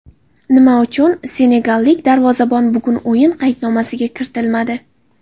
Nima uchun senegallik darvozabon bugun o‘yin qaydnomasiga kiritilmadi?